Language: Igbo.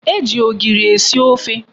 E ji ogiri esi ofe